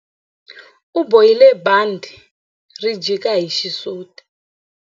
U bohile bandhi ri jika hi xisuti.